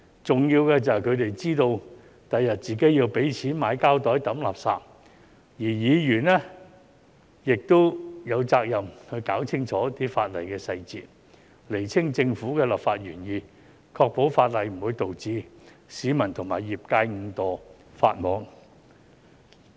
重要的是，他們知道日後自己要付錢買膠袋掉垃圾，而議員有責任弄清楚法例細節，釐清政府的立法原意，確保法例不會導致市民和業界誤墮法網。